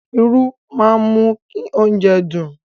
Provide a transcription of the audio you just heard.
Irú máa ń mú oúnjẹ dùn.